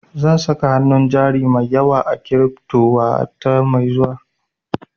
Zan saka hanun jari mai yawa a kiripto wata mai zuwa